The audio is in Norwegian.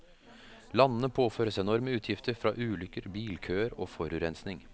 Landene påføres enorme utgifter fra ulykker, bilkøer og forurensning.